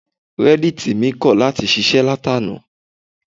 Reddit mi kọ̀ láti ṣiṣẹ́ láti àná.